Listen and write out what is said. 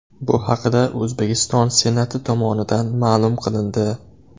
Bu haqda O‘zbekiston Senati tomonidan ma’lum qilindi .